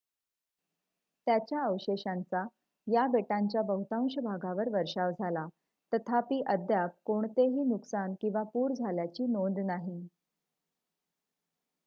त्याच्या अवशेषांचा या बेटांच्या बहुतांश भागांवर वर्षाव झाला तथापि अद्याप कोणतेही नुकसान किंवा पूर आल्याची नोंद नाही